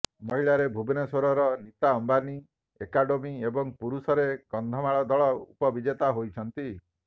ମହିଳାରେ ଭୁବନେଶ୍ବରର ନୀତା ଆମ୍ବାନୀ ଏକାଡେମି ଏବଂ ପୁରୁଷରେ କନ୍ଧମାଳ ଦଳ ଉପବିଜେତା ହୋଇଛନ୍ତି